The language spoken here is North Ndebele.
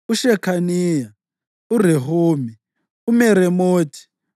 uShekhaniya, uRehumi, uMeremothi,